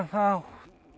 þátt